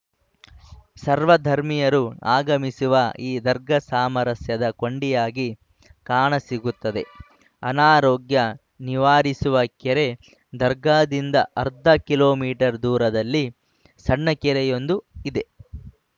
ಸರ್ವಧರ್ಮಿಯರು ಆಗಮಿಸುವ ಈ ದರ್ಗಾ ಸಾಮರಸ್ಯದ ಕೊಂಡಿಯಾಗಿ ಕಾಣ ಸಿಗುತ್ತದೆ ಅನಾರೋಗ್ಯ ನಿವಾರಿಸುವ ಕೆರೆ ದರ್ಗಾದಿಂದ ಅರ್ಧ ಕಿಲೋ ಮೀಟರ್ ದೂರದಲ್ಲಿ ಸಣ್ಣ ಕೆರೆಯೊಂದು ಇದೆ